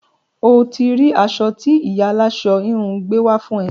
O ti rí aṣọ tí ìyá aláṣọ-híhun gbé wá fún ẹ.